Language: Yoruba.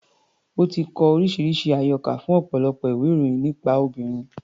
Ó ti kọ oríṣiríṣi àyọkà fún ọ̀pọ̀lọpọ̀ ìwé-ìròyìn nípa obìnrin.